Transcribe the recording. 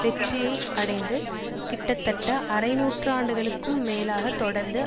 வெற்றியை அடைந்து கிட்டத்தட்ட அரை நூற்றாண்டுக்கும் மேலாகத் தொடர்ந்து